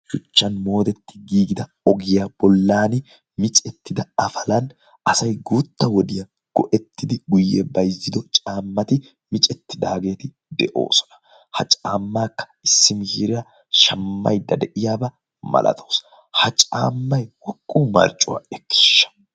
shuchchan moodetti giigida ogiyaa bollan micettida afalan asai guutta wodiyaa go7ettidi guyye baizzido caammati micettidaageeti de7oosona. ha caammaakka issi mis? hiiryaa shammaidda de7iyaabaa malatoosa ha caammai woqqu marccuwaa ekkiishsha